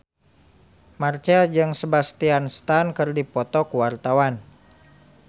Marchell jeung Sebastian Stan keur dipoto ku wartawan